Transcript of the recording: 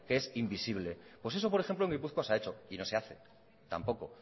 que es invisible pues eso por ejemplo en gipuzkoa se ha hecho y no se hace tampoco